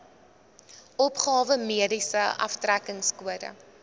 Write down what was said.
opgawe mediese aftrekkingskode